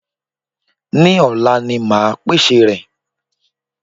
Ní òla ni máa pèsè rẹ̀